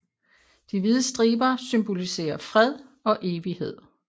De hvide striber symboliserer fred og evighed